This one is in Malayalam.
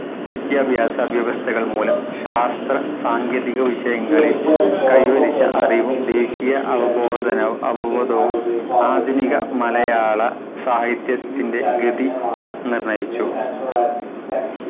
വിദ്യാഭ്യാസവ്യവസ്ഥകൾ മൂലം ശാസ്ത്ര സാങ്കേതിക വിഷയങ്ങളിൽ കൈവരിച്ച അറിവും ദേശീയ അവബോധന അവബോധവും ആധുനിക മലയാളസാഹിത്യത്തിൻ്റെ ഗതി നിർണയിച്ചു